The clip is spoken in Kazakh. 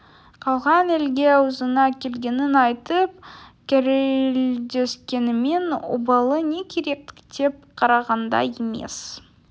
қалған елге аузына келгенін айтып керілдескенімен обалы не керек тіктеп қарағанда емес